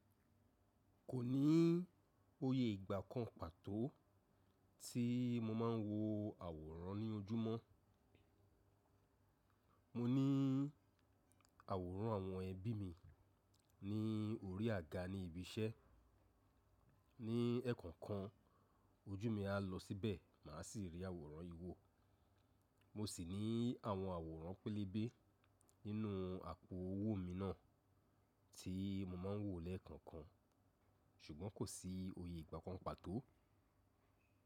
Kò ní oyè ìgbà kan pàtó tí mo máa ń wo àwòrán ní ojúmọ́. Mo ní àwòrán àwọn ẹbí mi ní orí àga ní ibi iṣẹ́. Ní ẹ̀ẹ̀kànkan ojú mi á lọ síbẹ̀, mà á sì rí àwòrán iwò. Mo sì ní àwọn àwòrán pẹlẹbẹ nínú àpò owó mi náà tí mo máa ń wò lẹ́ẹ̀kọ̀kan. Ṣùgbọ́n kò sí oyè ìgbà kan pàtó.